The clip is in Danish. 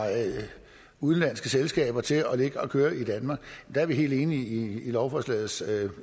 udenlandske selskaber til at ligge og køre i danmark er vi helt enige i lovforslagets